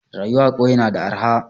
Rayuwa a kauye na da arha